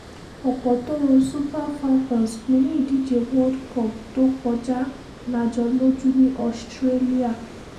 ọ̀pọ̀ tó ro super falcons pin ní ìdíje world cup tó kọjá la jọ lójú ní australia